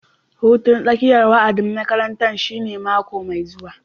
Hutun tsakiyar wa'adin makaranta shine mako mai zuwa